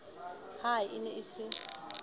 ha e ne e se